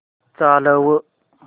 चालव